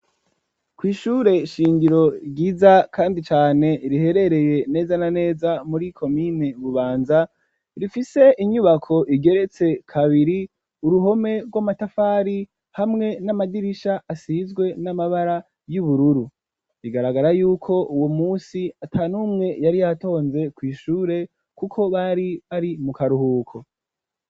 Kw'ishure shingiro ryiza kandi cane riherereye neza na neza muri komine Bubanza, rifise inyubako igeretse kabiri; uruhome rw'amatafari, hamwe n'amadirish asizwe n'amabara y'ubururu; bigaragara y'uko uwo munsi ata n'umwe, yari yatonze kw'ishure, kuko bari, bari mu karuhuko.